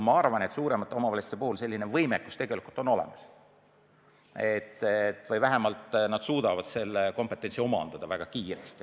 Ma arvan, et suuremates omavalitsustes on selline võimekus olemas või vähemalt nad suudavad selle kompetentsi omandada väga kiiresti.